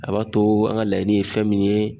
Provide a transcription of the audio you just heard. A b'a to an ka laɲini ye fɛn min ye